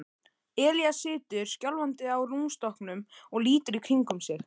Elías situr skjálfandi á rúmstokknum og lítur í kringum sig.